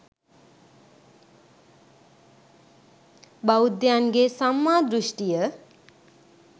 බෞද්ධයන්ගේ සම්මා දෘෂ්ඨිය